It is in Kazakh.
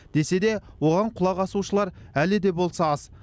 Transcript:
десе де оған құлақ асушылар әлі де болса аз